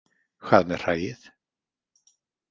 Hvað með hræið?